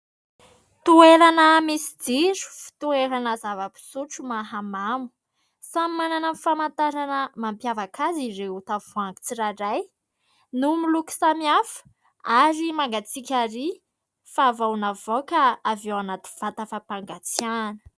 Toerana misy jiro, toerana zava-pisotro mahamamo. Samy manana ny famantarana mampiavaka azy ireo tavoahangy tsirairay, no miloko samihafa ary mangatsiaka ary fa vao navoaka avy ao anaty vata fampangatsiahana.